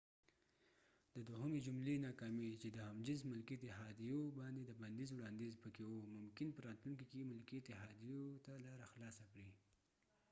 د دوهمی جملی ناکامی چې د هم جنس ملکې اتحاديو باندي د بنديز وړانديز پکې و ممکن په راتلونکې کې ملکې اتحاديو ته لاره خلاصه کړي